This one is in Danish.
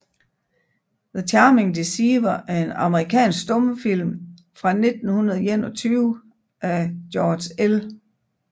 The Charming Deceiver er en amerikansk stumfilm fra 1921 af George L